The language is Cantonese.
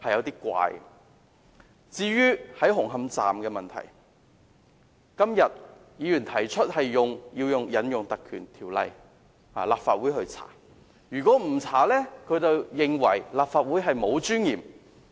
對於紅磡站的問題，今天有議員提出立法會要引用《條例》進行調查，否則他們便認為立法會沒有尊嚴。